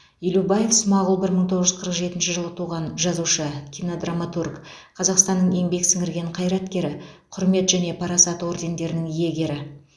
елубаев смағұл бір мың тоғыз жүз қырық жетінші жылы туған жазушы кинодраматург қазақстанның еңбек сіңірген қайраткері құрмет және парасат ордендерінің иегері